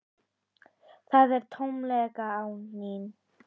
Það er tómlegt án þín.